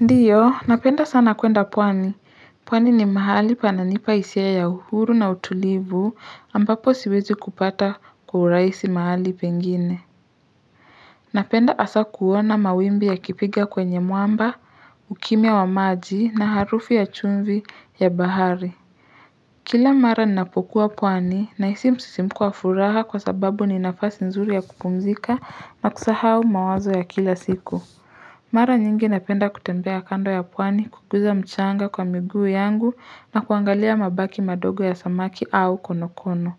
Ndiyo napenda sana kuenda pwani pwani ni mahali pananipa hisia ya uhuru na utulivu ambapo siwezi kupata kwa urahisi mahali pengine napenda hasa kuona mawimbi yakipiga kwenye mwamba ukimia wa maji na harufu ya chumvi ya bahari kila mara ninapokuwa pwani na hisi msisimko wa furaha kwa sababu ni nafasi nzuri ya kupumzika na kusahau mawazo ya kila siku Mara nyingi napenda kutembea kando ya pwani kuguza mchanga kwa miguu yangu na kuangalia mabaki madogo ya samaki au konokono.